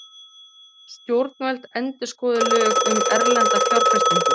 Stjórnvöld endurskoði lög um erlenda fjárfestingu